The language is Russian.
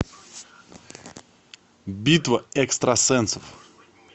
битва экстрасенсов